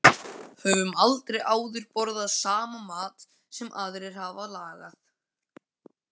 Höfum aldrei áður borðað saman mat sem aðrir hafa lagað.